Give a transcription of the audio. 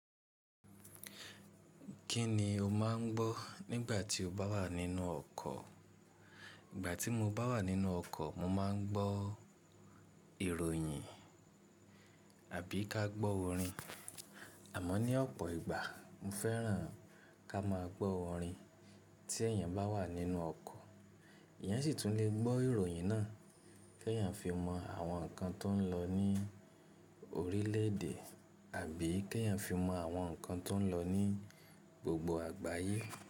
Kí ni o máà ń gbọ́ nígbà tí o bá wà nínú ọkọ̀? Ìgbà tí mo bá wà nínú ọkọ̀, mo ma ń gbọ́ ìròyìn àbí ká gbọ́ orin. À mọ́ ní ọ̀pọ̀ ìgbà mo fẹ́ràn ká máa gbọ́ orin. Tí èèyàn bá wà nínú ọkọ̀, èèyàn sì tún lè gbọ́ ìròyìn náà kí èèyàn fi mọ àwọn ǹkan tó ń lọ ní orílẹ̀èdè àbí kí èèyàn fi mọ àwọn ǹkan tó ń lọ ní gbogbo àgbáyé.